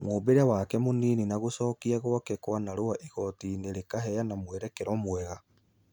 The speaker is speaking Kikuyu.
Mũmbĩre wake mũnini na gũcogiq gwakekwanarua igotinĩ iraheana mũrerero mega.